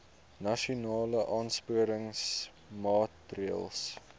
nasionale aansporingsmaatre ls